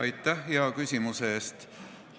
Aitäh hea küsimuse eest!